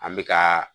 An bɛ ka